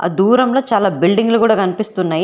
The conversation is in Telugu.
ఆ దూరంలో చాలా బిల్డింగ్లు కూడా కనిపిస్తున్నాయి.